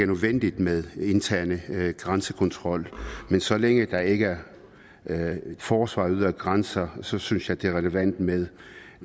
nødvendigt med en intern grænsekontrol men så længe der ikke er forsvar af ydre grænser synes synes jeg det er relevant med